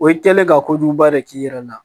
O kɛlen ka kojuguba de k'i yɛrɛ la